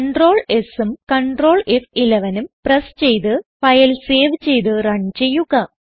Ctrl Sഉം Ctrl F11ഉം press ചെയ്ത് ഫയൽ സേവ് ചെയ്ത് റൺ ചെയ്യുക